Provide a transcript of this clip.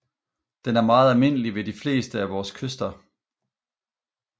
Den er meget almindelig ved de fleste af vores kyster